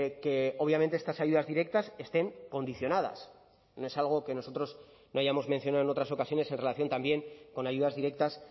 que obviamente estas ayudas directas estén condicionadas no es algo que nosotros no hayamos mencionado en otras ocasiones en relación también con ayudas directas